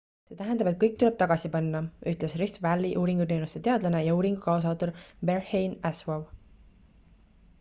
see tähendab et kõik tuleb tagasi panna ütles rift valley uuringuteenuste teadlane ja uuringu kaasautor berhane asfaw